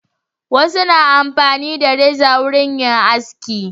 Wasu na amfani na reza wurin yin aski.